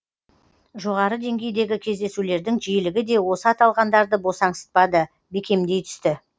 жоғары деңгейдегі кездесулердің жиілігі де осы аталғандарды босаңсытпады бекемдей түсті